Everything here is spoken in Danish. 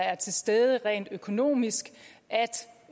er til stede rent økonomisk